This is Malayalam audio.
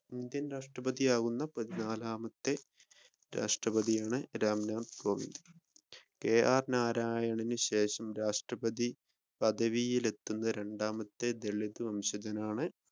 ഇന്ത്യൻ രാഷ്ട്രപ്രതി ആകുന്ന പതിനാലാമത്തെ വ്യക്തിയാണ് റാം നാഥ് കോവിന്ദ് കെആർ നാരായണൻ ശേഷം രാഷ്ട്രപതി പദവിയിലെത്തുന്ന രണ്ടാമത്തെ ദളിത് വംശജനാണ്